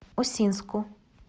усинску